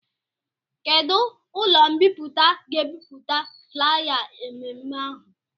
Kedụ ụlọ mbipụta ga-ebipụta flaya emume ahụ?